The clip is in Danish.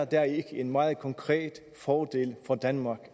dér en meget konkret fordel for danmark